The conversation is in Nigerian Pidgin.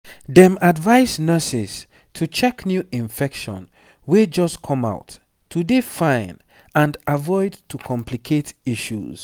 dem advise nurses to check new infections wey just come out to dey fine and avoid to complicate issues